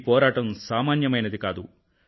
ఈ పోరాటం సామాన్యమైనది కాదు